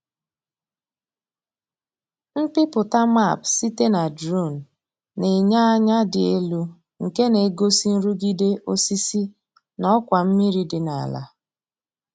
Mpịpụta map site na drone na-enye anya dị elu nke na-egosi nrụgide osisi na ọkwa mmiri dị n’ala.